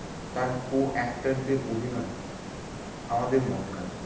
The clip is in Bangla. তার co actors দের অভিনয় আমাদের মন কাড়ে।